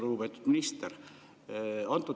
Lugupeetud minister!